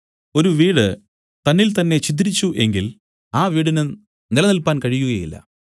ഒരു വീട് തന്നിൽതന്നേ ഛിദ്രിച്ചു എങ്കിൽ ആ വീടിന് നിലനില്പാൻ കഴിയുകയില്ല